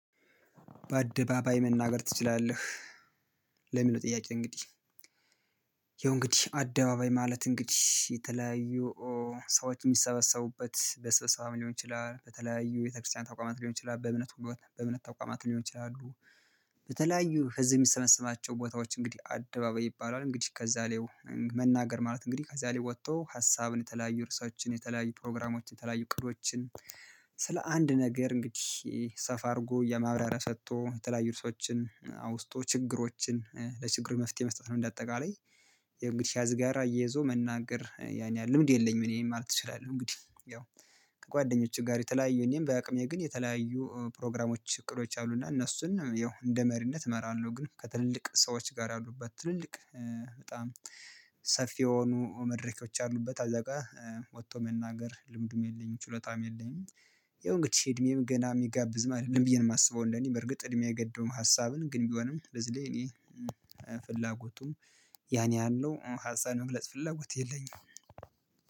በአደባባይ መናገር ትችላለህ? ለሚለው ጥያቄ እንግዲህ። ይኸው እንግዲህ አደባባይ ማለት እንግዲህ የተለያዩ ሰዎች የሚሰበሰቡበት በስብሰባም ሊሆን ይችላል በተለያዩ ቤተክርስቲያን ተቋማት ሊሆን ይችላል በእምነት ቦታ በእምነት ተቋማት ሊሆን ይችላል። በተለያዩ ህዝብ የሚሰበስባቸው ቦታዎች እንግዲህ አደባባይ ይባላል እንግዲህ ከዛ ላይ መናገር ማለት እንግዲህ ከዛ ላይ ወጥቶ ሀሳብን የተለያዩ ርዕሶችን የተለያዩ ፕሮግራሞችን የተለያዩ እቅዶችን ስለ አንድ ነገር እንግዲህ ሰፋ አድርጎ የማብራሪያ ሰጥቶ የተለያዩ ሰዎችን አውስቶ ችግሮችን ለችግሩ መፍትሄ መስጠት ነው። እንደ አጠቃላይ። የእንግዲህ ያዝ ጋራ እየይዞ መናገር ያን ያህል ልምድ የለኝም እኔን ማለት እችላለሁ። እንግዲህ ያው ከጓደኞችህ ጋር የተለያዩ እኔም በአቅሜ ግን የተለያዩ ፕሮግራሞች እቅዶች አሉና እነሱን ያው እንደ መሪነት እመራለሁ። ግን ከትልልቅ ሰዎች ጋር ያሉበት ትልልቅ በጣም ሰፊ የሆኑ መድረኮች አሉበት አዛጋ ወጥቶ መናገር ልምዱም የለኝም ችሎታም የለኝም። ያውንግድ እድሜም ገና የሚጋብዝ ማለት ነው ብዬ ነው የማስበው። እንደኔ በርግጥ እድሜ አይገደበውም። ሀሳብን ግን ቢሆንም በዚህ ላይ እኔ ፍላጎቱም ያን ያህል ነው ሀሳብ የመግለጽ ፍላጎት የለኝም።